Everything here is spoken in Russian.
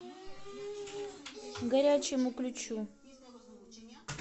горячему ключу